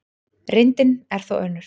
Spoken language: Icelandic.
Reyndin er þó önnur.